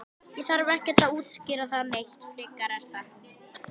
Ég þarf ekkert að útskýra það neitt frekar er það?